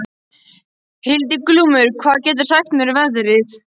Hildiglúmur, hvað geturðu sagt mér um veðrið?